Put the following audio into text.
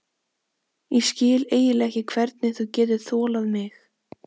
Ég skil eiginlega ekki hvernig þú getur þolað mig.